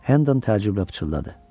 Hendan təəccüblə pıçıldadı: